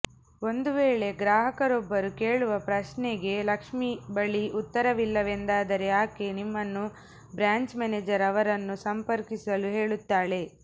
ಒಂದು ವೇಳೆ ಗ್ರಾಹಕರೊಬ್ಬರು ಕೇಳುವ ಪ್ರಶ್ನೆಗ ಲಕ್ಷ್ಮಿ ಬಳಿ ಉತ್ತರವಿಲ್ಲವೆಂದಾದರೆ ಆಕೆ ನಿಮ್ಮನ್ನು ಬ್ರ್ಯಾಂಚ್ ಮ್ಯಾನೇಜರ್ ಅವರನ್ನು ಸಂಪರ್ಕಿಸಲು ಹೇಳುತ್ತಾಳೆ